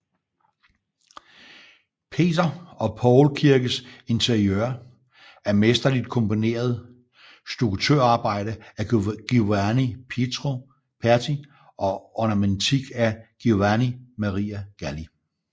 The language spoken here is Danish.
Peter og Paul kirkes interiør er mesterligt komponeret stukkatørarbejde af Giovanni Pietro Perti og ornamentik af Giovanni Maria Galli